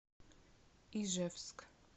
ижевск